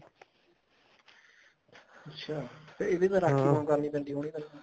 ਅੱਛਿਆ ਰਾਖੀ ਬਹੁਤ ਕਰਨੀ ਪੈਂਦੀ ਹੋਣੀ